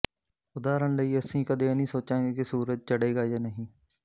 ਉਦਾਹਰਣ ਲਈ ਅਸੀਂ ਕਦੇ ਇਹ ਨਹੀਂ ਸੋਚਾਂਗੇ ਕਿ ਸੂਰਜ ਚੜ੍ਹੇਗਾ ਜਾਂ ਨਹੀਂ